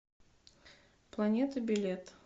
планета билет